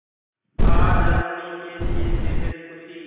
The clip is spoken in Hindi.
आज रश्मि के लिए बेहद खुशी